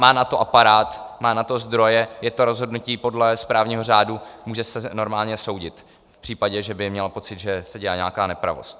Má na to aparát, má na to zdroje, je to rozhodnutí podle správního řádu, může se normálně soudit v případě, že by měla pocit, že se dělá nějaká nepravost.